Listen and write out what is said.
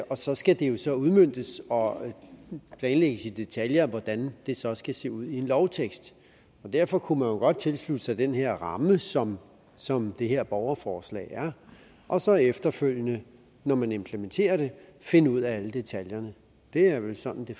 så skal det jo så udmøntes og planlægges i detaljer hvordan det så skal se ud i en lovtekst derfor kunne man jo godt tilslutte sig den her ramme som som det her borgerforslag har og så efterfølgende når man implementerer det finde ud af alle detaljerne det er vel sådan det